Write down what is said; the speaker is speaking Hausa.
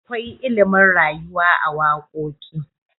akwai ilimin rayuwa a wakoki